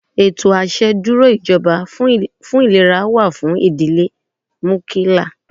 Ètò àṣẹ dúró ìjọba fún ìlera wà fún ìdílé núkíláá.